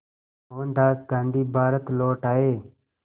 मोहनदास गांधी भारत लौट आए